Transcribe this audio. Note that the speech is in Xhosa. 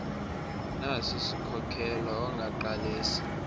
nasi siskhokelo ongaqalisa